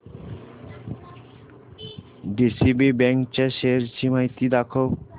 DCB bank च्या shares ची माहिती दाखव